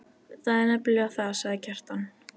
Það er nefnilega það, sagði Kjartan.